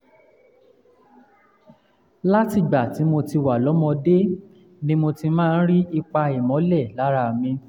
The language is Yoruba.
látìgbà tí mo ti wà lọ́mọdé ni mo ti máa ń rí ipa ìmọ́lẹ̀ lára mi